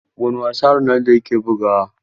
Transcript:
Wane wasa Ronaldo yake bugawa?